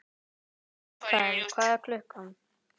Mikael, hvað er klukkan?